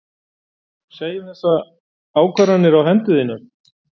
Segja um þessar ákvarðanir á hendur þínar?